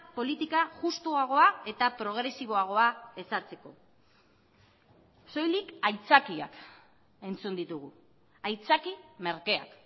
politika justuagoa eta progresiboagoa ezartzeko soilik aitzakiak entzun ditugu aitzaki merkeak